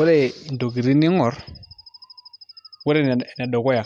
Ore ntokitin niing'orr ore enedukuya